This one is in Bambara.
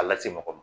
A lase mɔgɔ ma